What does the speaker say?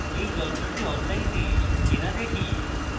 এখন যন্ত্রটি online কেনা দেখি